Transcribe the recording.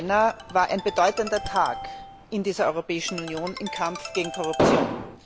14. Jänner, war ein bedeutender Tag in dieser Europäischen Union im Kampf gegen Korruption.